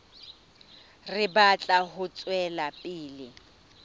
re batla ho tswela pele